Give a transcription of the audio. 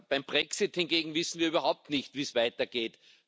Beim Brexit hingegen wissen wir überhaupt nicht, wie es weitergeht.